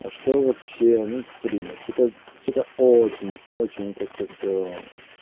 а что вообще ну блин что-то что-то очень очень как-то все